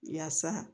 Yaasa